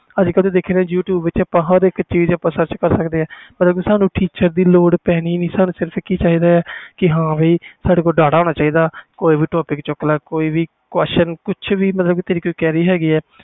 ਅੱਜ ਕਲ ਆਪਾ you tube ਵਿਚ ਹਰ ਇਕ ਚੀਜ਼ sarch ਕਰ ਸਕਦੇ ਆ ਸਾਨੂੰ ਕਿਸੇ ਚੀਜ਼ ਦੀ ਲੋਡ ਪੈਣੀ ਨਹੀਂ ਬਸ ਸਾਡੇ ਕੋਲ data ਹੋਣਾ ਚਾਹੀਦਾ ਆ ਕੋਈ ਵੀ topic ਚੁੱਕ ਲੈ ਕੋਈ ਵੀ question